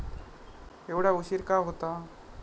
एवढा उशीर का होता.